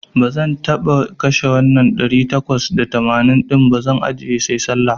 Bazan taba kashe wannan ɗari takwas da tamanin din ba, zan ajjiye sai Sallah.